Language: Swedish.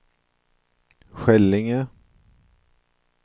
Skällinge